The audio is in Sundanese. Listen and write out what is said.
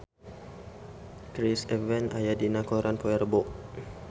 Chris Evans aya dina koran poe Rebo